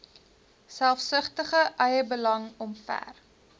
selfsugtige eiebelang omver